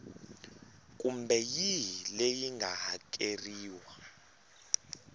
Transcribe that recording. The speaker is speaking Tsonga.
kumbe yihi leyi nga hakeriwa